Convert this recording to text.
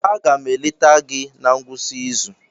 Aga m eleta gị na ngwụsị izu.